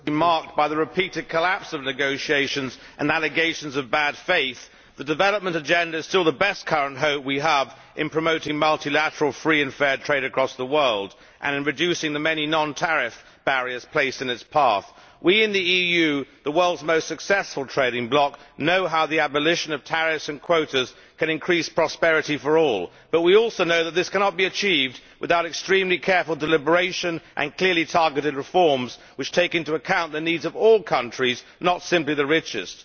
Mr President, although the 12 years of the Doha trade talks have been marked by the repeated collapse of negotiations and allegations of bad faith, the Development Agenda is still the best current hope we have in promoting multilateral free and fair trade across the world and in reducing the many non tariff barriers placed in its path. We in the EU, the world's most successful trading bloc, know how the abolition of tariffs and quotas can increase prosperity for all, but we also know that this cannot be achieved without extremely careful deliberation and clearly targeted reforms, which take into account the needs of all countries, and not simply the richest.